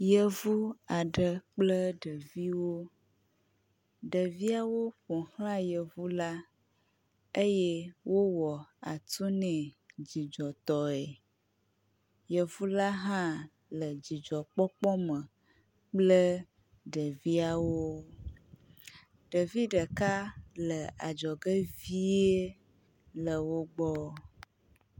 Yevu aɖe kple ɖeviwo, ɖeviawo ƒo xlae yevu eye wowɔ atu nɛ dzidzɔtɔe. Yevu la hã le dzidzɔkpɔkpɔ me kple ɖeviawo. Ɖevi ɖeka le adzɔge vie le wo gbɔ.